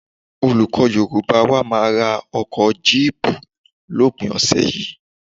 Olùkọ́ Yorùbá wa máa ra ọkọ̀ jíìpù lópin ọ̀sẹ̀ yìí